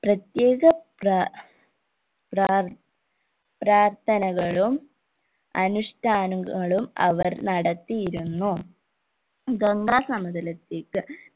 പ്രത്യേക പ്ര പ്രാർ പ്രാർത്ഥനകളും അനുഷ്ട്ടാനങ്ങളും അവർ നടത്തിയിരുന്നു ഗംഗാ സമതലത്തേക്ക്